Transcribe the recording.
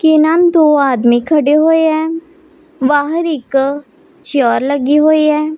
के नाम दो आदमी खड़े हुए हैं बाहर एक चेयर लगी हुई है।